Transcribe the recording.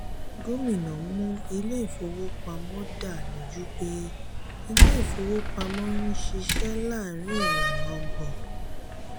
gómìnà mú ilé ìfowópamọ́ dà lójú pé ilé ìfowópamọ́ ń ṣiṣẹ́ láàárín ìlànà ọgbọ́n.